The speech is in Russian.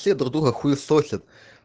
все друг друга хуесосят